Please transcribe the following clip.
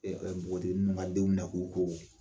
npogotigi ninnu ka denw minɛ k'u ko.